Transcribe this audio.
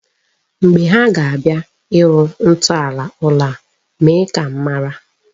Mgbe ha ga-abịa ịrụ ntọala ụlọ a, mee ka m mara.